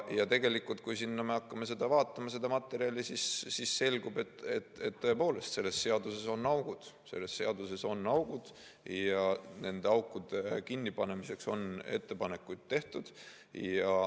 Tegelikult, kui me hakkame vaatama seda materjali, siis selgub, et tõepoolest selles seaduses on augud ja nende aukude kinnipanemiseks on ettepanekuid tehtud.